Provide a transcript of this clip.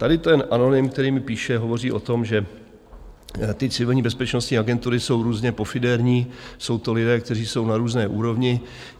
Tady ten anonym, který mi píše , hovoří o tom, že ty civilní bezpečnostní agentury jsou různě pofiderní, jsou to lidé, kteří jsou na různé úrovni.